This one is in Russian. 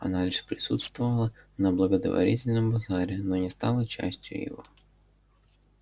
она лишь присутствовала на благотворительном базаре но не стала частью его